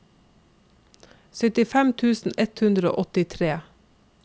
syttifem tusen ett hundre og åttitre